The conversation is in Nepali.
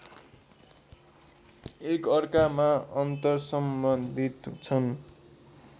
एकअर्कामा अन्तर्सम्बन्धित छन्